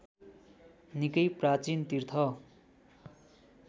निकै प्राचीन तीर्थ